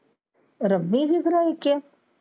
ਦੁੱਖ ਰਾ ਹੈ ਕਿਆ।